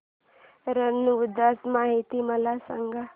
रण उत्सव माहिती मला सांग